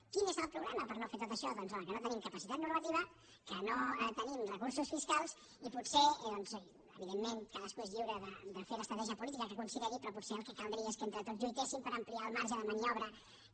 quin és el problema per no fer tot això doncs home que no tenim capacitat normativa que no tenim recursos fiscals i potser doncs evidentment cadascú és lliure de fer l’estratègia política que consideri però potser el que caldria és que entre tots lluitéssim per ampliar el marge de maniobra que